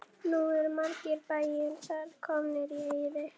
Nú eru margir bæir þar komnir í eyði.